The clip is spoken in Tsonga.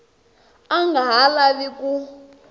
a nga ha lavi ku